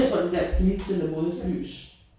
Tror det bliver et blitz eller modlys